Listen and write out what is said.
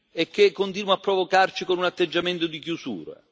e che continua a provocarci con un atteggiamento di chiusura.